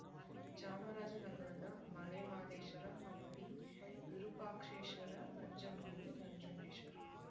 ಚಾಮರಾಜ ನಗರದ ಮಲೆಮಹದೇಶ್ವರ ಹಂಪಿ ವಿರೂಪಾಕ್ಷೇಶ್ವರ ನಂಜನಗೂಡು ನಂಜುಡೇಶ್ವರ